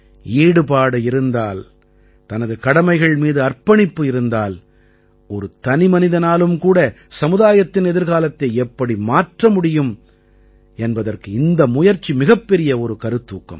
ஈடுபாடு இருந்தால் தனது கடமைகள் மீது அர்ப்பணிப்பு இருந்தால் ஒரு தனிமனிதனாலும் கூட சமுதாயத்தின் எதிர்காலத்தை எப்படி மாற்ற முடியும் என்பதற்கு இந்த முயற்சி மிகப்பெரிய ஒரு கருத்தூக்கம்